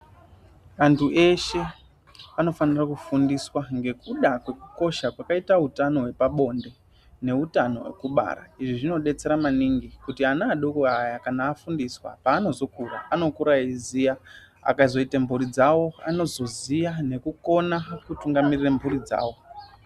Antu eshe anofanira kufundiswa ngekuda kwekukosha kwakaita utano hwepabonde neutano hwekubara. Izvi zvinobetsera maningi kuti ana adoko aya kana afundiswa. Panozokura anokura eiiziya akazoita mhuri dzavo anozoziya nekukona kutungamirire mhuri dzavo.